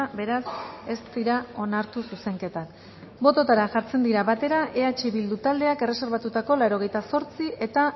beraz ez dira onartu zuzenketak bototara jartzen dira batera eh bildu taldeak erreserbatutako laurogeita zortzi eta